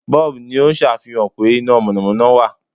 Bọ́ọ̀bù' ni ó sàfihàn pé iná mọ̀nọ̀mọ́nọ́ wà